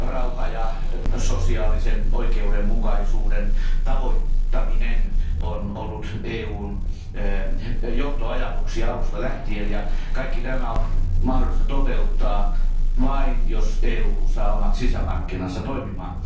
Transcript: rauha ja sosiaalisen oikeudenmukaisuuden tavoittaminen on ollut EUn johtoajatuksia alusta lähtien ja kaikki tämä on mahdollista toteuttaa vain, jos EU saa omat sisämarkkinansa toimimaan.